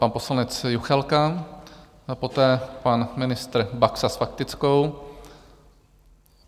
Pan poslanec Juchelka, poté pan ministr Baxa s faktickou.